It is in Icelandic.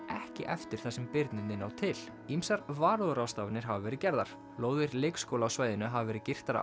ekki eftir þar sem birnirnir ná til ýmsar varúðarráðstafanir hafa verið gerðar lóðir leikskóla á svæðinu hafa verið girtar af